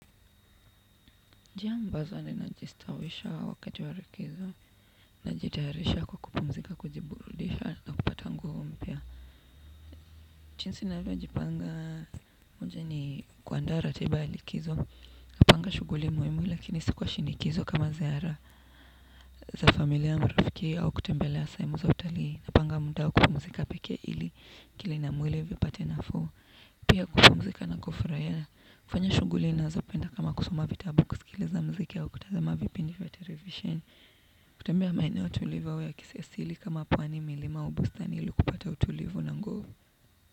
Njia ambazo ninajistawisha wakati wa likizo. Najitayarisha kwa kupumzika kujiburudisha na kupata nguvu mpya. Chinzi navyo jipanga. Moja ni kuandaa ratiba ya likizo. Napanga shuguli muimu lakini si kwa shinikizo kama ziara za familia marafiki au kutembelea sehemu za utalii napanga muda wa kupumzika peke ili akili na mwili vipate nafuu. Pia kupumzika nakufuraia, kufanya shuguli nazopenda kama kusoma vitabu kusikiliza mziki au kutazama vipindi vya televisheni. Kutembea maeneo tulivu ya kisi asili kama pwani milima au bustani ili kupata utulivu na nguvu.